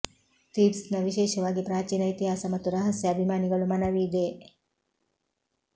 ಥೀಬ್ಸ್ನ ವಿಶೇಷವಾಗಿ ಪ್ರಾಚೀನ ಇತಿಹಾಸ ಮತ್ತು ರಹಸ್ಯ ಅಭಿಮಾನಿಗಳು ಮನವಿ ಇದೆ